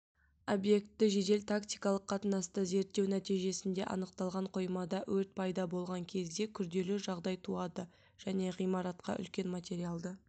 объектті жедел-тактикалық қатынаста зерттеу нәтижесінде анықталған қоймада өрт пайда болған кезде күрделі жағдай туады және ғимаратқа үлкен материалды